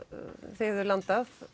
þið hefðuð landað